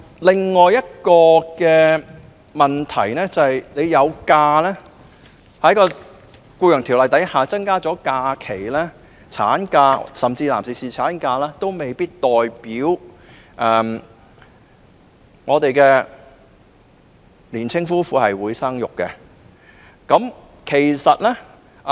可是，即使政府在《僱傭條例》中增加產假，甚至是男士侍產假的日數，也未必代表香港的年輕夫婦會選擇生育。